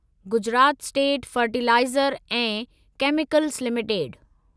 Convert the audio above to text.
Gujarat state fertiliser ऐं chemicals limited